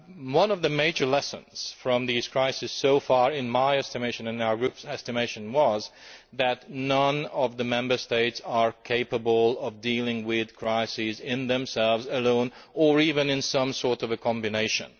One of the major lessons from these crises so far, in my estimation and in our group's estimation, is that none of the Member States is capable of dealing with crises on its own or even in some sort of combination.